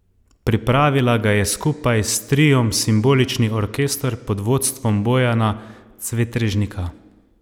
Pripravila ga je skupaj s triom Simbolični orkester pod vodstvom Bojana Cvetrežnika.